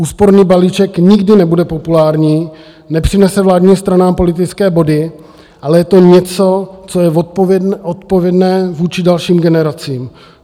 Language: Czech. Úsporný balíček, nikdy nebude populární, nepřinese vládním stranám politické body, ale je to něco, co je odpovědné vůči dalším generacím.